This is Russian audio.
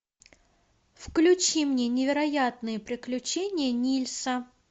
включи мне невероятные приключения нильса